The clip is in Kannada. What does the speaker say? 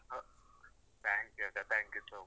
ಹ, thank you ಅಕ್ಕ, thank you so much.